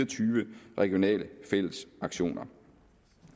tyve regionale fællesaktioner